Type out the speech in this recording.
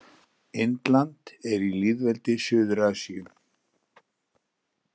Indland er í lýðveldi í Suður-Asíu.